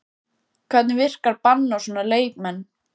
Hvernig virkar bann á svona leikmenn?